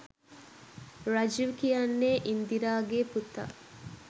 රජිව් කියන්නේ ඉන්දිරාගේ පුතා.